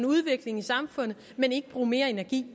udvikling i samfundet men ikke bruge mere energi